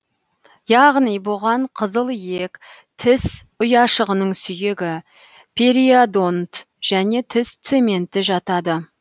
яғни бұған қызыл иек тіс ұяшығының сүйегі периодонт және тіс цементі жатады